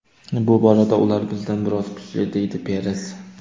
Bu borada ular bizdan biroz kuchli”, deydi Peres.